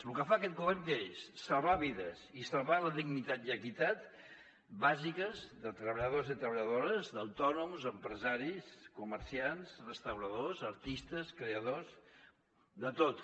lo que fa aquest govern què és salvar vides i salvar la dignitat i equitat bàsiques de treballadors i treballadores d’autònoms empresaris comerciants restauradors artistes creadors de tots